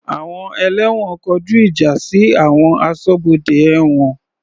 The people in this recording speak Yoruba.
Àwọn ẹlẹ́wọ̀n kọjú ìjà sí àwọn aṣọ́bodè ẹ̀wọ̀n.